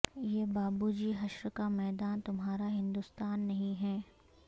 یہ بابو جی حشر کا میداں تمہارا ہندوستاں نہیں ہے